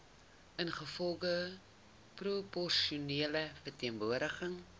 ingevolge proporsionele verteenwoordiging